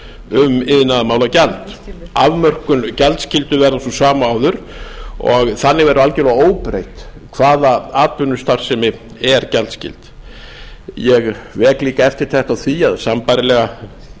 um iðnaðarmálagjald afmörkun gjaldskyldu verður sú sama og áður og þannig verður algjörlega óbreytt hvaða atvinnustarfsemi er gjaldskyld ég vek líka eftirtekt á því að sambærilega